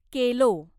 केलो